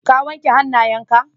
Ka wanke hanayen ka?